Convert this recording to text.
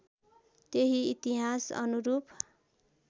त्यही इतिहास् अनुरूप